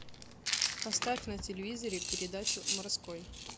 поставь на телевизоре передачу морской